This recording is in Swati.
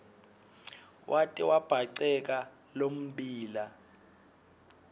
wate wabhaceka lommbila